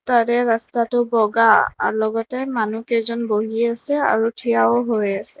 তাৰে ৰাস্তাটো বগা আৰু লগতে মানু্হকেইজন বহি আছে আৰু থিয়ও হৈ আছে।